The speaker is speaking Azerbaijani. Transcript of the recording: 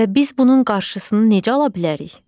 Və biz bunun qarşısını necə ala bilərik?